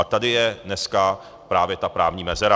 A tady je dneska právě ta právní mezera.